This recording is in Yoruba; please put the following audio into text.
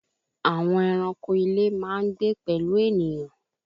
Àwọn eranko ilé máa n gbé pẹ̀lú ènìyàn